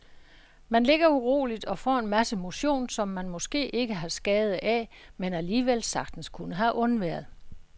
Man ligger uroligt og får en masse motion, som man måske ikke har skade af, men alligevel sagtens kunne have undværet.